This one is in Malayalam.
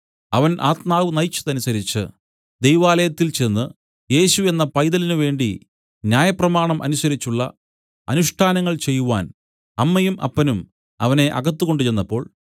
അവൻ ആത്മാവ് നയിച്ചതനുസരിച്ച് ദൈവാലയത്തിൽ ചെന്ന് യേശു എന്ന പൈതലിന് വേണ്ടി ന്യായപ്രമാണം അനുസരിച്ചുള്ള അനുഷ്ഠാനങ്ങൾ ചെയ്‌വാൻ അമ്മയും അപ്പനും അവനെ അകത്ത് കൊണ്ടുചെന്നപ്പോൾ